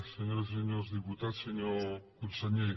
senyores i senyors diputats senyor conseller